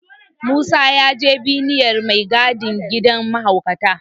Musa ya je binniyar mai gadin gidan mahaukata.